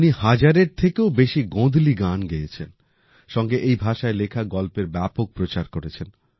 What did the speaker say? উনি হাজারের থেকেও বেশি গোঁধলি গান গেয়েছেন সঙ্গে এই ভাষায় লেখা গল্পের ব্যাপক প্রচার করেছেন